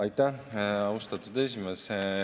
Aitäh, austatud esimees!